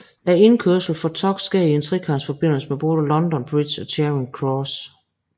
Indkørslen for tog sker i en trekantsforbindelse med både London Bridge og Charing Cross